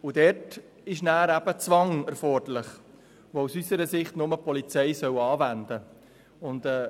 Dann ist eben ein Zwang erforderlich, den unseres Erachtens nur die Polizei soll anwenden dürfen.